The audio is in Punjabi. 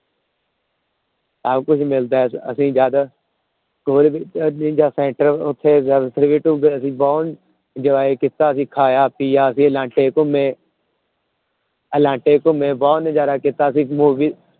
ਸਭ ਕੁਛ ਮਿਲਦਾ ਹੈ ਅਸੀਂ ਜਦ ਉੱਥੇ ਅਸੀਂ ਬਹੁਤ enjoy ਕੀਤਾ ਅਸੀਂ ਖਾਇਆ ਪੀਆ ਅਸੀਂ ਅਲਾਂਟੇ ਘੁੰਮੇ ਅਲਾਂਟੇ ਘੁੰਮੇ ਬਹੁਤ ਨਜ਼ਾਰਾ ਕੀਤਾ ਅਸੀਂ movie